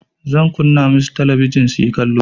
Zan kunna musu talabijin suyi kallo.